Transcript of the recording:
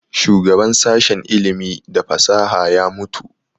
Shugaban sashen ilimi da fasaha ya mutu